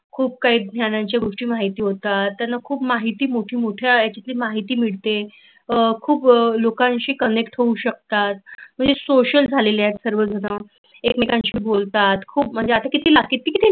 खुप काही जणांची गोष्टी माहित होतात, त्यांना खूप माहिती मोठी मौठी तिथे माहिती मिळते, खुप लोकांशी कनेक्ट होऊ शकतात म्हणजे सोशल झालेले आहेत सर्वजण एकमेकांशी बोलतात खुप मज्जा अत्ता किती